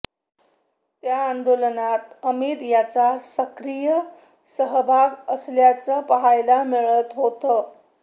त्या आंदोलनात अमित यांचा सक्रिय सहभाग असल्याचं पाहायला मिळालं होतं